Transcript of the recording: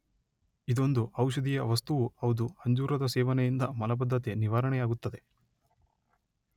ಇದೊಂದು ಔಷಧೀಯ ವಸ್ತುವೂ ಹೌದು ಅಂಜೂರದ ಸೇವನೆಯಿಂದ ಮಲಬದ್ಧತೆ ನಿವಾರಣೆಯಾಗುತ್ತದೆ